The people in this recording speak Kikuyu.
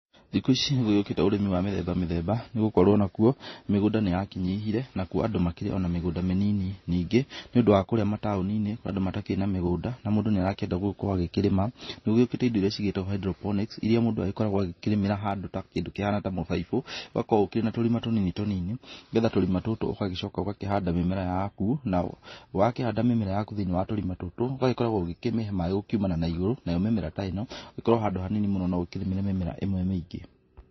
Thiku ici nĩgũgĩũkĩte ũrĩmi wa mĩthemba mĩthemba nĩgũkorwo nakuo, mĩgũnda nĩyakĩnyihire nakuo andũ makĩrĩ na mĩgũnda mĩnini, ningĩ nĩ ũndũ wa kũrĩa mataũni-inĩ kũrĩ na andũ matarĩ na mĩgũnda na mũndũ nĩarakĩenda gũkorwo akĩrĩma, nĩgũgĩũkĩte indo irĩa cigĩtagwo hydroponics irĩa mũndũ agĩkoragwo agĩkĩrĩmĩra handũ ta kĩndũ kĩhana ta mũbaibũ, ũgakorwo ũkĩrĩ na tũrima tũnini tũnini, nĩgetha tũrima tũtũ ũgagĩcoka ũgakĩhanda mĩmera yaku na, wakĩhanda mĩmera yaku thĩiniĩ wa tũrima tũtũ ũgagĩkoragwo ũgĩkĩmĩhe maaĩ gũkiumana na igũrũ, nayo mĩmera ta ĩno ĩkorwo handũ hanini mũno no ũkĩrĩmĩre mĩmera ĩmwe mĩingĩ.